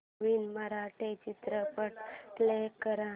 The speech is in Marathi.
नवीन मराठी चित्रपट प्ले कर